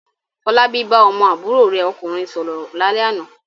Fọlábí bá ọmọ àbúrò rẹ̀ ọkùnrin sọ̀rọ̀ lálẹ́ àná.